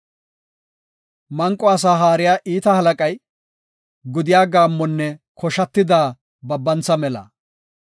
Manqo asaa haariya iita halaqay, gudiya gaammonne koshatida babantha mela.